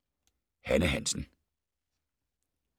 Hanne Hansen